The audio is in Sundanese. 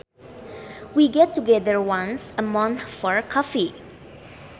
We get together once a month for coffee